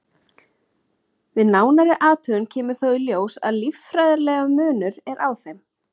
Við nánari athugun kemur þó í ljós að líffærafræðilegur munur er á þeim.